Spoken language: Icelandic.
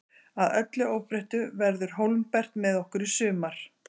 Að öllu óbreyttu verður Hólmbert með okkur í sumar.